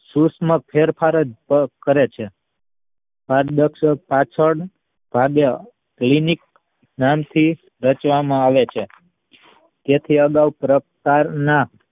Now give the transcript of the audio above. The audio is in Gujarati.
સૂક્ષ્મ ફેરફાર જ ક ~કરે છે છે પારદર્શક પાછળ ભાગે લિનિક નામ થી રચવામાં આવે છે જેથી અગાઉ પ્રકાર ના